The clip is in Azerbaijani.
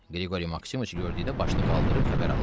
Qriqori Maksimoviç gördükdə başını qaldırıb xəbər aldı.